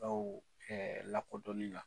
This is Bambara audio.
Dɔw kɛ lakodɔnni la .